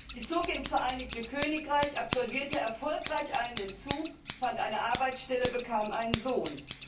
Sie zog ins Vereinigte Königreich, absolvierte erfolgreich einen Entzug, fand eine Arbeitsstelle, bekam einen Sohn.